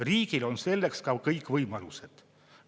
Riigil on selleks ka kõik võimalused.